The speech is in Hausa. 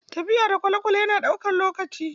Tafiya da kwalekwale yana ɗaukar lokaci.